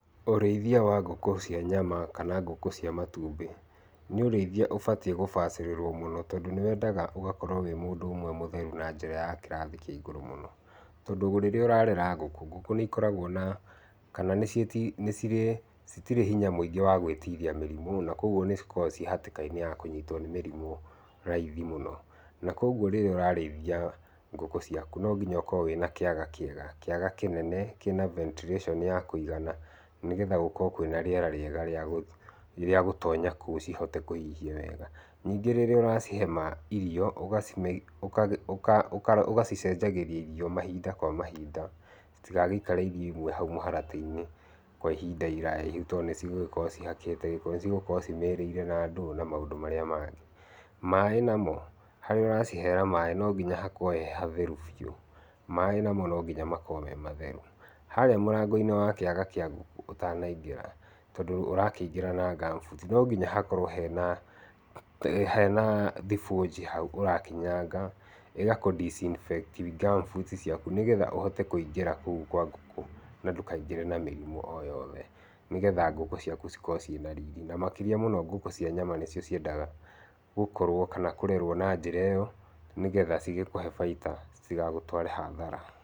Ũrĩithia wa ngũkũ cia nyama kana ngũkũ cia matumbĩ, nĩ ũrĩithia ũbatie kũbacĩrĩrwa mũno tondũ nĩwendaga ũgũkũrwo wĩ mũndũ ũmwe mũtheru na njĩra ya kĩrathi kĩa igũrũ mũno. Tondũ rĩrĩa ũrarera ngũkũ, ngũkũ nĩikoragwo na, kana nĩcirĩ, citirĩ hinya mũingĩ wa gwĩtiria mĩrimũ na koguo nĩ cikoragwo cirĩ hatĩka-inĩ ya kũnyitwo nĩ mĩrimũ raithi mũno. Na koguo rĩrĩa ũrarĩithia ngũkũ ciaku no nginya ũkorwo na kĩaga kĩega, kĩaga kĩnene kĩna ventilation ya kũigana nĩgetha gũkorwo kwĩna rĩera rĩega rĩagũtonya kũu cihote kũhihia wega. Nyĩngĩ rĩrĩa ũracihe irio ũgacicenjagĩria irio mahinda kwa mahinda, citigagĩikare irio imwe hau mũharatĩ-inĩ kwa ihinda iraya, tondũ nĩcigũgĩkorwo cihakĩte gĩko, nĩcigũkorwo cimĩrĩire na ndũũ na maũndũ marĩa mangĩ. Maaĩ namo, harĩa ũracihera maaĩ no ngĩnya hakorwo he hatheru biũ. Maaĩ namo no ngĩnya makoro me matheru. Harĩa mũrango-inĩ wa kĩaga kĩa ngũkũ ũtanaingĩra, tondũ ũrakĩingĩra na ngamubuti no nginya hakorwo hena thibonji hau ũrakinyanga ĩgakũ disinfect ngamubuti ciaku, nĩgetha ũhote kũingĩra kũu kwa ngũkũ na ndũkaingĩre na mĩrimũ o yothe, nĩgetha ngũkũ ciaku cikorwo ciĩna riri. Na makĩria mũno ngũkũ cia nyama nĩcio ciendaga gũkorwo kana kũrerwo na njĩra ĩyo nĩgetha cigĩkũhe bainda citigagũtware hathara.